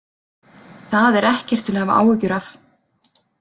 Það er ekkert til að hafa áhyggjur af.